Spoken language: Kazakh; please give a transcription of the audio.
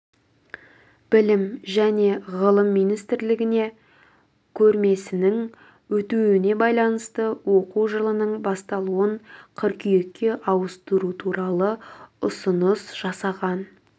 білім және ғылым министрлігіне көрмесінің өтуіне байланысты оқу жылының басталуын қыркүйекке ауыстыру туралы ұсыныс жасаған